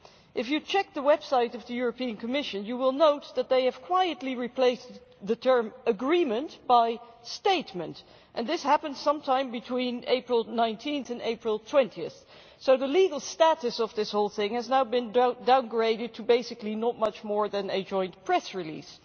If you check the website of the European Commission you will note that they have quietly replaced the term agreement' by statement' and this happened sometime between 19 April and 20 April, so the legal status of this whole thing has now been downgraded to basically not much more than a joint press release.